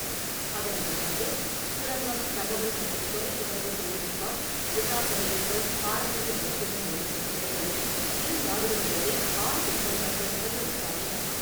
அதனைத் தொடர்ந்து சுரங்கம், தகவல் மற்றும் தொலைத்தொடர்பு தொழில்நுட்பம், விசா சலுகைகள், பாரம்பரிய மருத்துவம் உள்ளிட்ட துறைகளில் இரு நாடுகள் இடையே ஆறு ஒப்பந்தங்கள் கையெழுத்தாயின.